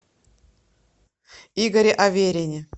игоре аверине